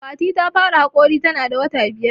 Fati ta fara haƙori ta na da wata biyar